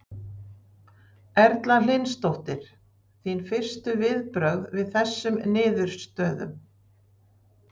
Erla Hlynsdóttir: Þín fyrstu viðbrögð við þessum niðurstöðum?